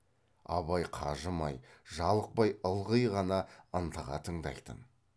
абай қажымай жалықпай ылғи ғана ынтыға тыңдайтын